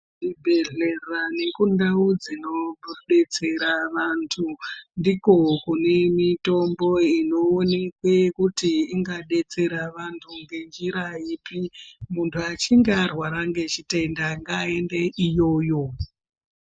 Zvibhedhlera nekundau dzinodetsera vantu ndiko kune mitombo inoonekwe kuti ingadetsera vantu ngenjira ipi. Muntu achinge arwara ngechitenda ngaende iyoyo.